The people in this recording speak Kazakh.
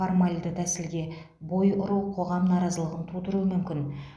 формалды тәсілге бой ұру қоғам наразылығын тудыруы мүмкін